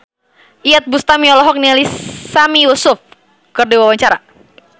Iyeth Bustami olohok ningali Sami Yusuf keur diwawancara